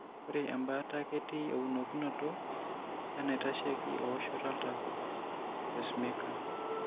Ore embaata ketii eunokinoto enaitasheiki eoshoto oltau(empacemaker).